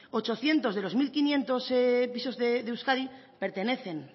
ochocientos de los mil quinientos pisos de euskadi pertenecen